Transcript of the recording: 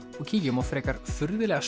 og kíkjum á frekar furðulega